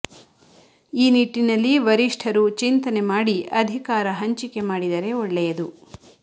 ಈ ನಿಟ್ಟಿನಲ್ಲಿ ವರಿಷ್ಠರು ಚಿಂತನೆ ಮಾಡಿ ಅಧಿಕಾರ ಹಂಚಿಕೆ ಮಾಡಿದರೆ ಒಳ್ಳೆಯದು